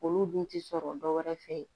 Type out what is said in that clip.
Olu dun ti sɔrɔ dɔwɛrɛ fɛ yen